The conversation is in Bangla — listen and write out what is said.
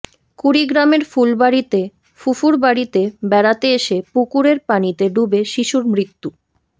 কুড়িগ্রামের ফুলবাড়িতে ফুফুর বাড়িতে বেড়াতে এসে পুকুরের পানিতে ডুবে শিশুর মৃত্যু